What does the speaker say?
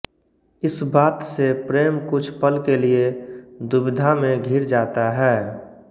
इस बात से प्रेम कुछ पल के लिये दुविधा में घिर जाता है